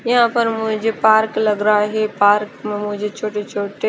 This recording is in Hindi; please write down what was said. यहाँ पे मुझे पार्क लग रहा है पार्क में मुझे छोटे छोटे--